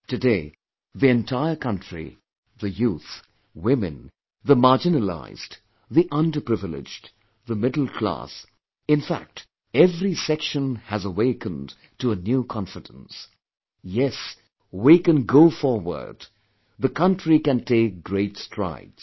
Today, the entire country, the youth, women, the marginalized, the underprivileged, the middle class, in fact every section has awakened to a new confidence ... YES, we can go forward, the country can take great strides